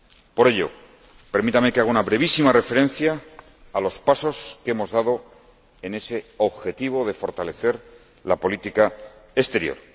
Por ello, permítanme que haga una brevísima referencia a los pasos que hemos dado en ese objetivo de fortalecer la política exterior.